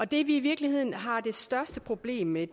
det vi i virkeligheden har det største problem med